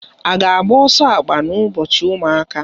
I ga agba ọsọ akpa na ụbọchị ụmụaka?